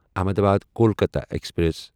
Ahmedabad Kolkata express